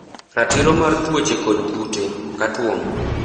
Ratiro mar Tuwoche kod kute. Cut worm.